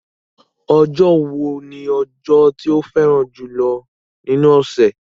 Ọjọ́ wo ni ọjọ́ tí o fẹ́ràn jùlọ́ nínú ọ̀sẹ̀?